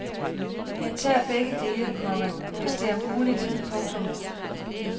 Jeg tager begge dele, komma hvis det er muligt. punktum